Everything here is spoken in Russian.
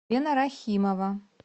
лена рахимова